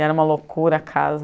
Era uma loucura a casa.